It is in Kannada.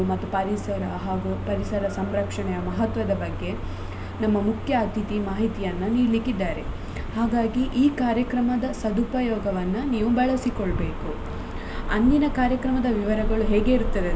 ಮತ್ತು ಪರಿಸರ ಹಾಗು ಪರಿಸರ ಸಂರಕ್ಷಣೆಯ ಮಹತ್ವದ ಬಗ್ಗೆ ನಮ್ಮ ಮುಖ್ಯ ಅತಿಥಿ ಮಾಹಿತಿಯನ್ನು ನೀಡ್ಲಿಕ್ಕಿದ್ದಾರೆ ಹಾಗಾಗಿ ಈ ಕಾರ್ಯಕ್ರಮದ ಸದುಪಯೋಗವನ್ನ ನೀವು ಬಳಸಿಕೊಳ್ಬೇಕು ಅಂದಿನ ಕಾರ್ಯಕ್ರಮದ ವಿವರಗಳು ಹೇಗಿರುತ್ತದೆ.